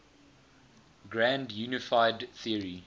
grand unified theory